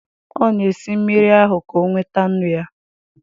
Ọ na-esi mmiri ahụ, ka o nweta nnu na ya